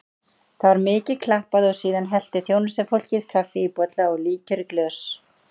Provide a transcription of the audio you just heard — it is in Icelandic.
Það var mikið klappað og síðan hellti þjónustufólkið kaffi í bolla og líkjör í glös.